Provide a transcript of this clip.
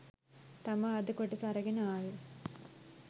තමා අද කොටස අරගෙන ආවේ.